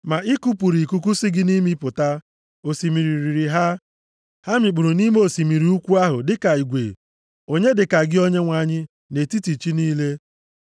Ma i kupụrụ ikuku si gị nʼimi pụta, osimiri riri ha, ha mikpuru nʼime osimiri ukwu ahụ dịka igwe.